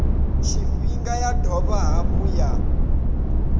tshifhinga ya dovha hafhu ya